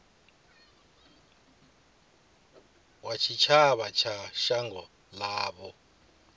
wa tshitshavha wa shango ḽavho